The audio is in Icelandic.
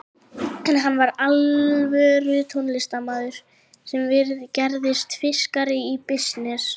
En hann var alvöru tónlistarmaður sem gerðist fúskari í bisness.